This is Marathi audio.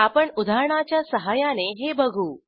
आपण उदाहरणाच्या सहाय्याने हे बघू